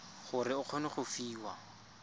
gore o kgone go fiwa